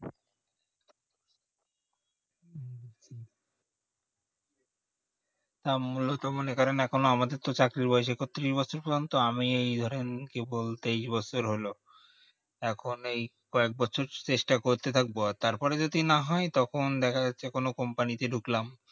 ও মূলত মনে করেন এখন আমাদের তো চাকরির বয়সী এখন একত্রিশ বছর পর্যন্ত তো আমি ধরেন কি বলতেই এই বছর হলো এখন কয়েক বছর চেষ্টা করতে থাকবো তারপরে যদি না হয় তখন দেখা যাচ্ছে কোনো company তে ঢুকলাম